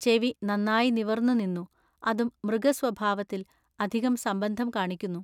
ചെവി നന്നാ നിവിൎന്നു നിന്നു. അതും മൃഗസ്വഭാവത്തിൽ അധികം സംബന്ധം കാണിക്കുന്നു.